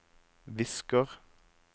visker